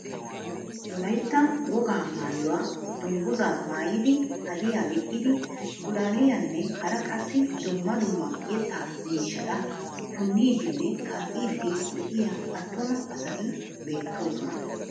Wollaytta wogaa mayuwaa dungguzaa maayidi hadiyaa giixxidi pulaaliyaanne hara qassi dumma dumma yettaa miishshata puuniidinne kaa"iidi de'iyaa attuma asati beettoosona.